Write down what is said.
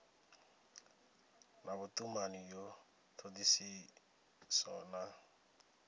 na vhutumani ya thodisiso na